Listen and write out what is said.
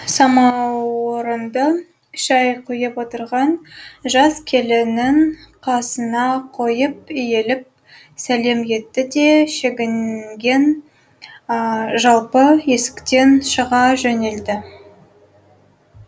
самаурынды шай құйып отырған жас келіннің қасына қойып иіліп сәлем етті де шегінген жалпы есіктен шыға жөнелді